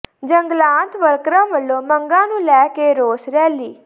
ਜੰਗਲਾਤ ਵਰਕਰਾਂ ਵਲੋਂ ਮੰਗਾਂ ਨੂੰ ਲੈ ਕੇ ਰੋਸ ਰੈਲੀ